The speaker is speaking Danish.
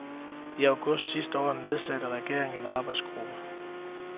I august sidste år nedsatte regeringen en arbejdsgruppe.